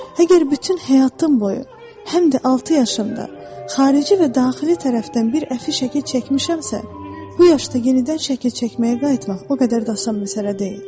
Əgər bütün həyatım boyu, həm də 6 yaşımda xarici və daxili tərəfdən bir əfi şəkli çəkmişəmsə, bu yaşda yenidən şəkil çəkməyə qayıtmaq o qədər də asan məsələ deyil.